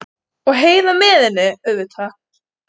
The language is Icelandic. Og Heiða með henni, auðvitað.